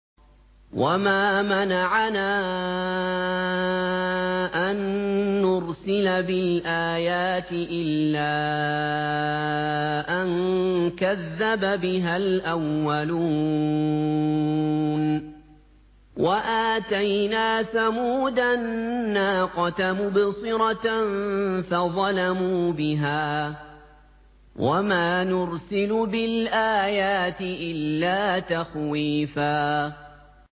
وَمَا مَنَعَنَا أَن نُّرْسِلَ بِالْآيَاتِ إِلَّا أَن كَذَّبَ بِهَا الْأَوَّلُونَ ۚ وَآتَيْنَا ثَمُودَ النَّاقَةَ مُبْصِرَةً فَظَلَمُوا بِهَا ۚ وَمَا نُرْسِلُ بِالْآيَاتِ إِلَّا تَخْوِيفًا